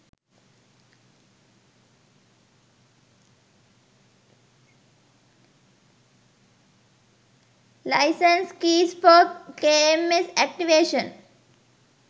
license keys for kms activation